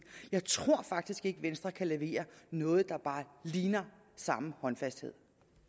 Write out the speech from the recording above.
jeg tror faktisk ikke venstre kan levere noget der bare ligner samme håndfasthed